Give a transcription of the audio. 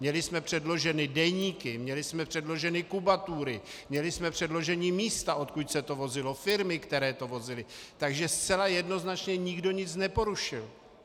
Měli jsme předloženy deníky, měli jsme předloženy kubatury, měli jsme předložena místa, odkud se to vozilo, firmy, které to vozily, takže zcela jednoznačně nikdo nic neporušil.